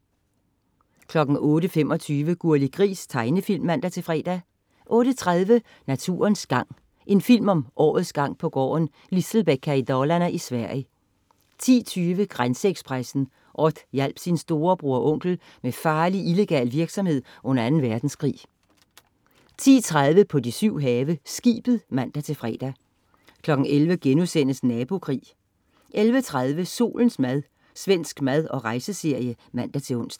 08.25 Gurli Gris. Tegnefilm (man-fre) 08.30 Naturens gang. En film om årets gang på gården Lisselbäcka i Dalarne i Sverige 10.20 Grænseekspressen. Odd hjalp sin storebror og onkel med farlig illegal virksomhed under Anden Verdenskrig 10.30 På de syv have. Skibet (man-fre) 11.00 Nabokrig* 11.30 Solens mad. Svensk mad- og rejse-serie (man-ons)